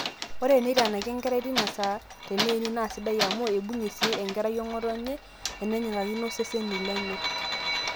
ore eneitanaki enkerai teina saa teneini naa sidai amu eibung'ie sii enkerai ong'otonye enenyikakino iseseni lenye